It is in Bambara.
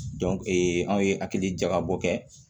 anw ye hakili jagabɔ kɛ